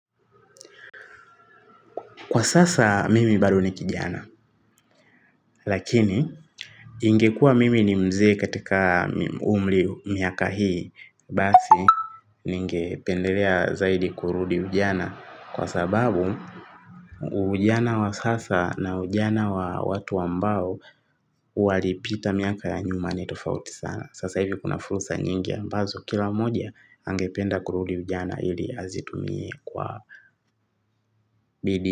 Kwa sasa mimi bado ni kijana lakini ingekuwa mimi ni mzee katika umri miaka hii basi ningependelea zaidi kurudi ujana kwa sababu ujana wa sasa na ujana wa watu ambao walipita miaka ya nyuma ni tofauti sana. Sasa hivi kuna furusa nyingi ambazo kila moja angependa kurudi ujana hili azitumie kwa bidii.